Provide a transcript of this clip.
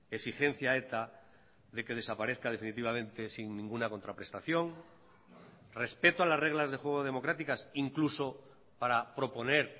exigencia a eta de que desaparezca definitivamente sin ninguna contraprestación respeto a las reglas de juego democráticas incluso para proponer